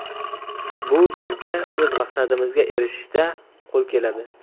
Bu bizga o‘z maqsadimizga erishishda qo‘l keladi”.